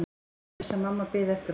Hann vissi að mamma biði eftir honum.